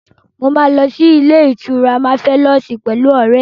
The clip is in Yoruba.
Mo máa lọ sí ilé-ìtura Máfẹ́lọ́ọ̀sì pẹ̀lú ọ̀rẹ́ mi.